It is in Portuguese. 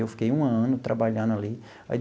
Eu fiquei um ano trabalhando ali aí.